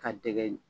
Ka dɛgɛ